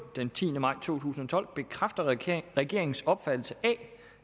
den tiende maj to tusind og tolv bekræfter regeringens regeringens opfattelse af